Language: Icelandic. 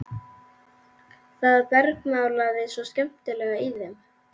Það bergmálaði svo skemmtilega í þeim.